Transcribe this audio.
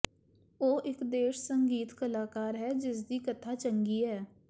ਉਹ ਇੱਕ ਦੇਸ਼ ਸੰਗੀਤ ਕਲਾਕਾਰ ਹੈ ਜਿਸਦੀ ਕਥਾ ਚੰਗੀ ਹੈ